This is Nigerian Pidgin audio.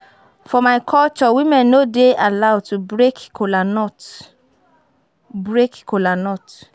For my culture women no dey allowed to break kola nut break kola nut